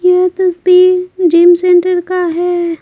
यह तस्वीर gym centre का है।